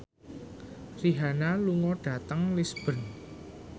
Rihanna lunga dhateng Lisburn